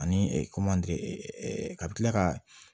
Ani ka bi kila ka